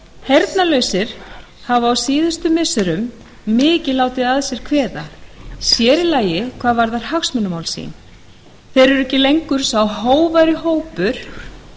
heyrnarlausir hafa á síðustu missirum mikið látið að sér kveða sér í lagi hvað varðar hagsmunamál sín þeir eru ekki lengur sá hógværi hópur